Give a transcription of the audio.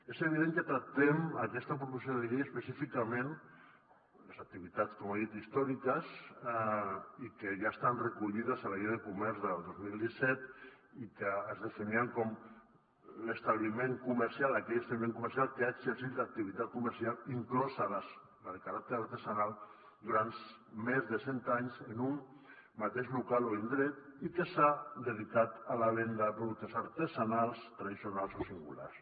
és evident que tractem en aquesta proposició de llei específicament les activitats com ha dit històriques i que ja estan recollides a la llei de comerç del dos mil disset i que es definien com aquell establiment comercial que ha exercit l’activitat comercial inclosa la de caràcter artesanal durant més de cent anys en un mateix local o indret i que s’ha dedicat a la venda de productes artesanals tradicionals o singulars